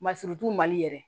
Masurunu mali yɛrɛ